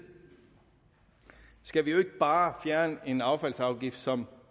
skal vi jo bare fjerne en affaldsafgift som